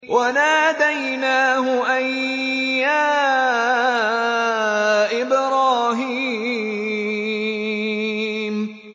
وَنَادَيْنَاهُ أَن يَا إِبْرَاهِيمُ